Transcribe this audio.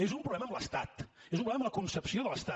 és un problema amb l’estat és un problema amb la concepció de l’estat